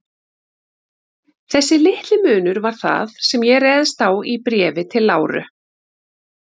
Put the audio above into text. Þessi litli munur var það, sem ég réðst á í Bréfi til Láru.